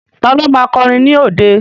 Ta ló ma kọrin ní òde?